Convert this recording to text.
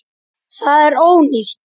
Það er ónýtt.